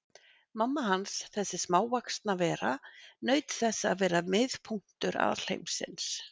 Mamma hans, þessi smávaxna vera, naut þess að vera miðpunktur alheimsins.